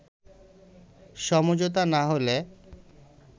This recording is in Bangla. “সমঝোতা না হলে